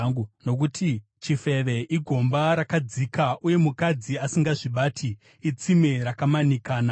nokuti chifeve igomba rakadzika, uye mukadzi asingazvibati itsime rakamanikana.